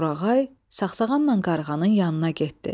Torağay saqsağanla qarğanın yanına getdi.